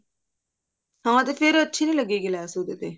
ਹਾਂ ਤੇ ਫ਼ੇਰ ਅੱਛੀ ਨੀ ਲੱਗੇਗੀ ਲੈਸ ਉਹਦੇ ਤੇ